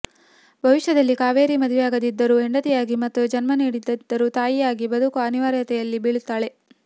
ಭವಿಷ್ಯದಲ್ಲಿ ಕಾವೇರಿ ಮದುವೆಯಾಗದಿದ್ದರೂ ಹೆಂಡತಿಯಾಗಿ ಮತ್ತು ಜನ್ಮ ನೀಡದಿದ್ದರೂ ತಾಯಿಯಾಗಿ ಬದುಕುವ ಅನಿವಾರ್ಯತೆಯಲ್ಲಿ ಬೀಳುತ್ತಾಳೆ